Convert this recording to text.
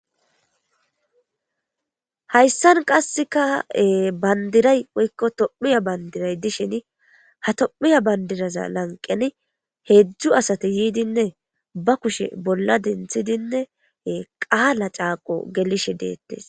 hayssan qasseka bandiray woykko tophiya bandiray dishin ha tophiya bandiraza lanqeni heedzdzu asati yiidinne ba kushe bolla denthidinne qaala caaqo gelishe deettes